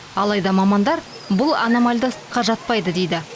алайда мамандар бұл аномальды ыстыққа жатпайды дейді